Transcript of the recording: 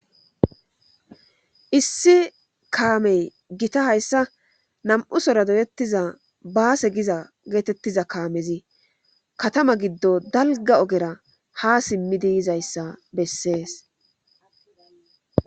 issi kaamey gita hayssa nam'u sora doyettiza baase giza geetettiza kaamezi katama giddo dalgga ogera ha simmidi yizayssa bessees